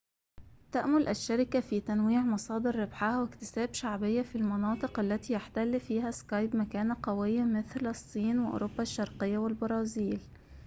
تأمل الشركة في تنويع مصادر ربحها واكتساب شعبية في المناطق التي يحتل فيها سكايب مكانة قوية مثل الصين وأوروبا الشرقية والبرازيل